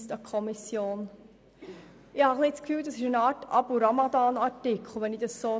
Ich habe das Gefühl, es handle sich um eine Art «Abu-Ramadan-Artikel» ist.